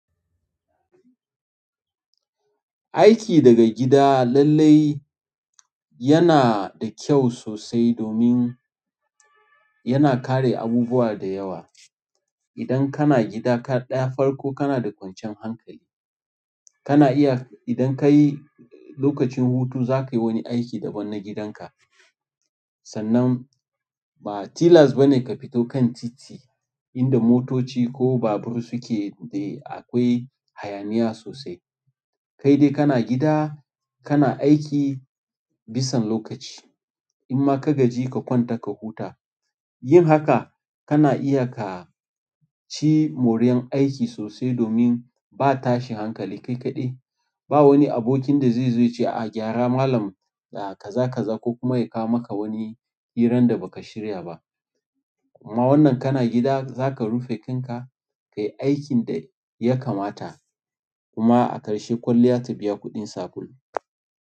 Aiki daga gida lallai yana da kyau sosai domin yana kare abubuwa da yawa. Idan kana gida ka ɗaya farko kana da kwanciyan hankali. Kana iya idan ka yi lokacin hutu za ka yi wani aiki daban na gidanka. Sannan ba tilas ba ne ka fito kan titi inda motoci ko babur suke da akwai hayaniya sosai. Kai dai kana gida kana aiki bisan lokaci. In ma ka gaji ka kwanta ka huta. Yin haka kana iya ka ci moriyar aiki sosai domin ba tashin hankali kai kaɗai. Ba wani abokin da zai zo ya ce a gyara malam da kaza kaza ko kuma ya kawo maka wani hirar da ba ka shirya ba. Amma wannan kana gida za ka rufe kanka ka yi aikin da ya kamata kuma a ƙarshe kwalliya ta biya kuɗin sabulu.